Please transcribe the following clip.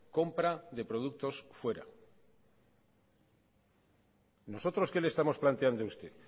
compra de productos fuera nosotros qué le estamos planteando a usted